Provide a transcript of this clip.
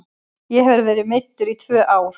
Ég hef verið meiddur í tvö ár.